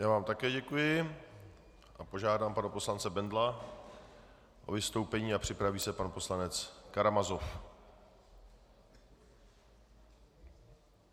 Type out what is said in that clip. Já vám také děkuji a požádám pana poslance Bendla o vystoupení a připraví se pan poslanec Karamazov.